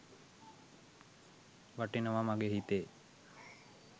වටිනව මගෙ හිතේ